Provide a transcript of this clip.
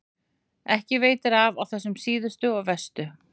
Ekki veitir af á þessum síðustu og verstu.